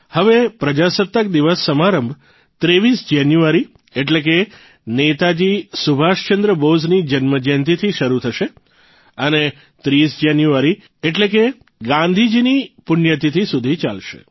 હવે પ્રજાસત્તાક દિવસ સમારંભ ૨૩ જાન્યુઆરી એટલે કે નેતાજી સુભાષચંદ્ર બોઝની જન્મજયંતીથી શરૂ થશે અને ૩૦ જાન્યુઆરી સુધી એટલે કે ગાંધીજીની પુણ્યતિથિ સુધી ચાલશે